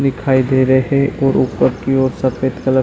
दिखाई दे रहे ओर ऊपर और सफ़ेद कलर --